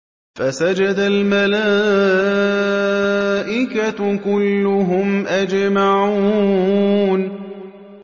فَسَجَدَ الْمَلَائِكَةُ كُلُّهُمْ أَجْمَعُونَ